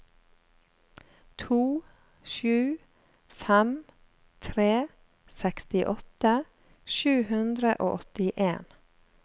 to sju fem tre sekstiåtte sju hundre og åttien